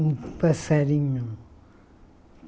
Um passarinho.